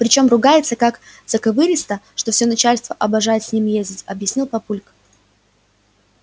причём ругается как заковыристо что всё начальство обожает с ним ездить объяснил папулька